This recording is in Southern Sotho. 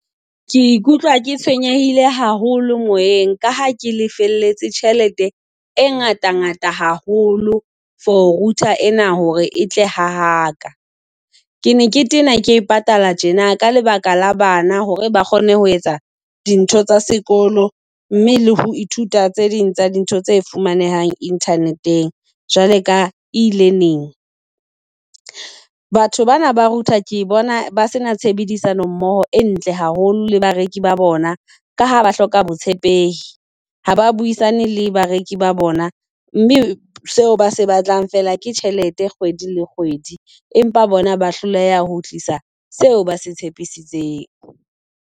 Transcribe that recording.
Ke ikutlwa ke tshwenyehile haholo moyeng, ka ha ke lefeletse tjhelete e ngata ngata haholo for router ena hore e tle ha ha ka. Ke ne ke tena ke patala tjena ka lebaka la bana hore ba kgone ho etsa dintho tsa sekolo, mme le ho ithuta tse ding tsa dintho tse fumanehang Internet-eng. Jwale ka e ile neng? Batho bana ba router ke bona ba sena tshebedisano mmoho e ntle haholo le bareki ba bona, ka ha ba hloka botshepehi. Ha ba buisane le bareki ba bona, mme seo ba se batlang feela ke tjhelete kgwedi le kgwedi, empa bona ba hloleha ho tlisa seo ba se tshepisitseng.